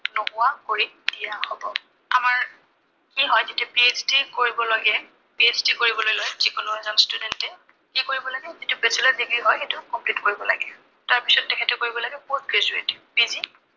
নোহোৱা কৰি দিয়া হব। আমাৰ কি হয়, যেতিয়া PHd কৰিবলৈ লয়, PHd কৰিবলৈ লাগে, যি কোনো এজন student এ কি কৰিব লাগে, যিটো bachelor degree হয়, সেইটো complete কৰিব লাগে। তাৰপিছত তেখেতে কৰিব লাগে post graduate